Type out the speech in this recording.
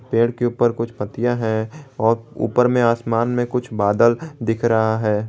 पेड़ के ऊपर कुछ पत्तियां है और ऊपर में आसमान में कुछ बादल दिख रहा है।